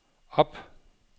op